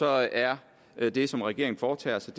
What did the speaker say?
er det som regeringen foretager sig